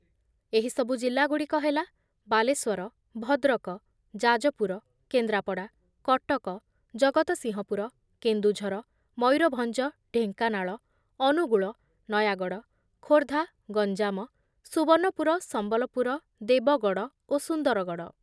ଏହିସବୁ ଜିଲ୍ଲାଗୁଡ଼ିକ ହେଲା ବାଲେଶ୍ୱର, ଭଦ୍ରକ, ଯାଜପୁର, କେନ୍ଦ୍ରାପଡ଼ା, କଟକ, ଜଗତସିଂହପୁର, କେନ୍ଦୁଝର, ମୟୂରଭଞ୍ଜ, ଢେଙ୍କାନାଳ, ଅନୁଗୁଳ, ନୟାଗଡ଼, ଖୋର୍ଦ୍ଧା, ଗଞ୍ଜାମ, ସୁବର୍ଣ୍ଣପୁର, ସମ୍ବଲପୁର, ଦେବଗଡ଼ ଓ ସୁନ୍ଦରଗଡ଼ ।